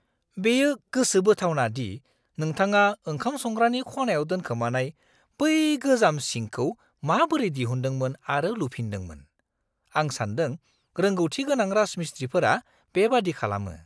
बेयो गोसोबोथावना दि नोंथाङा ओंखाम संग्रानि खनायाव दोनखोमानाय बै गोजाम सिंकखौ माबोरै दिहुनदोंमोन आरो लुफिनदोंमोन। आं सान्दों रोंगौथिगोनां राजमिस्त्रीफोरा बेबादि खालामो।